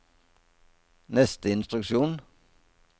neste instruksjon